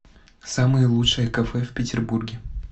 самые лучшие кафе в петербурге